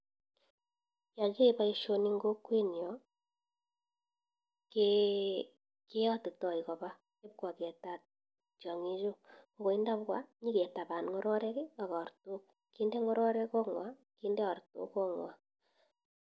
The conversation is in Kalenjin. yoo kiae boisioni eng kokwetnyo keyotitoi koba kwaketat tiongichu koi tabwa nyiketaban ngororek ak artok kinde ngororek kotngwa kinde ngororek kot ngwa